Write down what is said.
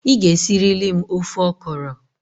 Ị ga-esirili m ofe ọkọrọ!